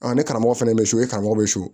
ne karamɔgɔ fana bɛ so e karamɔgɔ bɛ so